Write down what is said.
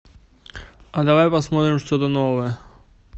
а давай посмотрим что то новое